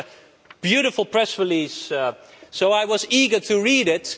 It's a beautiful press release, so I was eager to read it.